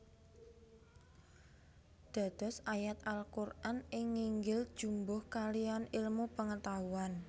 Dados ayat Al Quran ing nginggil jumbuh kaliyan ilmu pengetahuan